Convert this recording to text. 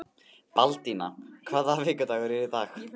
Baldína, hvaða vikudagur er í dag?